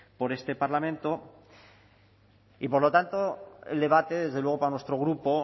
por este parlamento y por lo tanto el debate desde luego para nuestro grupo